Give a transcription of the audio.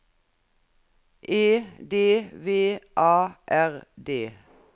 E D V A R D